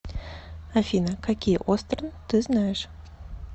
афина какие остерн ты знаешь